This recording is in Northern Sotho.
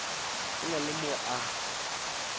go na le mo a